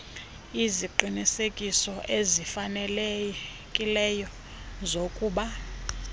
iziqinisekiso ezifanelekileyo zokuba